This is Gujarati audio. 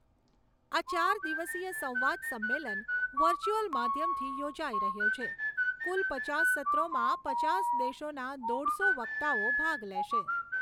આ ચાર દિવસીય સંવાદ સંમેલન વર્ચ્યુઅલ માધ્યમથી યોજાઈ રહ્યો છે કુલ પચાસ સત્રોમાં પચાસ દેશોના દોઢસો વક્તાઓ ભાગ લેશે.